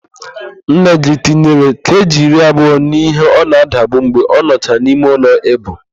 Nengị tinyere keeji iri abụọ n'íhé ọ na-adabu mgbe ọ nọchara n'imeụlọ íbù.